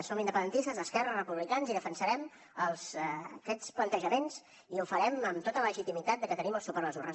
som independentistes d’esquerra republicans i defensarem aquests plantejaments i ho farem amb tota la legitimitat perquè tenim el suport de les urnes